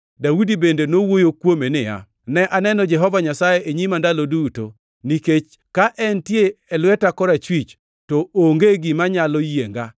Daudi bende nowuoyo kuome niya, “ ‘Ne aneno Jehova Nyasaye e nyima ndalo duto. Nikech ka entie e lweta korachwich, to onge gima nyalo yienga.